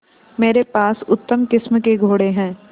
मेरे पास उत्तम किस्म के घोड़े हैं